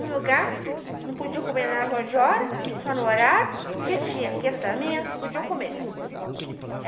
Um lugar, não podia comer fora de hora, só no horário, porque tinha aqui, podiam comer.